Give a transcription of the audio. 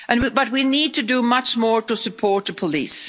But we need to do much more to support the police.